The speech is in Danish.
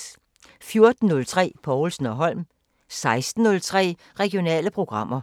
14:03: Povlsen & Holm 16:03: Regionale programmer